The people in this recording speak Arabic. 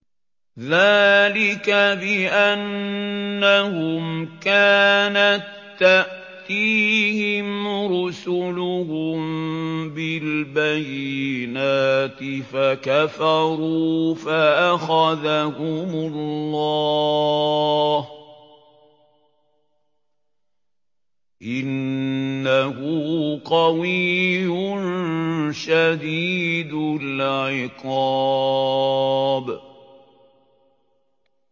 ذَٰلِكَ بِأَنَّهُمْ كَانَت تَّأْتِيهِمْ رُسُلُهُم بِالْبَيِّنَاتِ فَكَفَرُوا فَأَخَذَهُمُ اللَّهُ ۚ إِنَّهُ قَوِيٌّ شَدِيدُ الْعِقَابِ